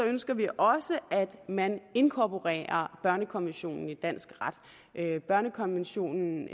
ønsker vi også at man inkorporerer børnekonventionen i dansk ret børnekonventionen